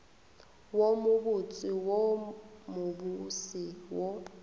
wo mobotse wo mobose wo